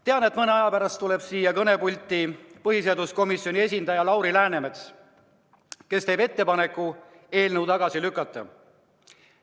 Tean, et mõne aja pärast tuleb siia kõnepulti põhiseaduskomisjoni esindaja Lauri Läänemets, kes teeb ettepaneku eelnõu tagasi lükata.